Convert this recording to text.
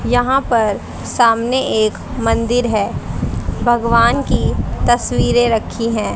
यहां पर सामने एक मंदिर है भगवान की तस्वीरे रखी है।